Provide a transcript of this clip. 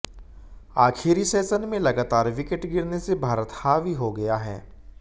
आखिरी सेशन में लगातार विकेट गिरने से भारत हावी हो गया है